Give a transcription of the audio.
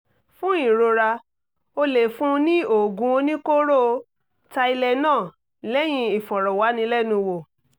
fún ìrora o lè fún un ní oògùn oníkóró tylenol lẹ́yìn ìfọ̀rọ̀wánilẹ́nuwò